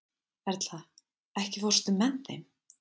Erla, ekki fórstu með þeim?